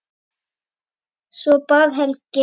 Svo bar Helgi